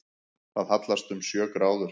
Það hallast um sjö gráður